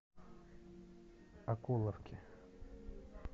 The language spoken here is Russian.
окуловке